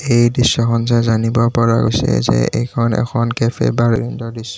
এই দৃশ্যখন চাই জানিব পৰা গৈছে যে এইখন এখন কেফে বা ৰেন্দৰ দৃশ্য।